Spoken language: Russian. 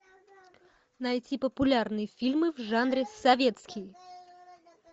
найти популярные фильмы в жанре советский